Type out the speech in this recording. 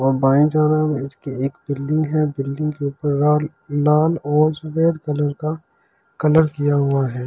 और बाईं तरफ इसकी एक बिल्डिंग हैं बिल्डिंग के ऊपर राल लाल और सफ़ेद कलर का कलर किया हुआ हैं।